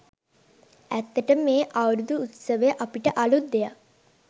ඇත්තටම මේ අවුරුදු උත්සවය අපිට අළුත් දෙයක්.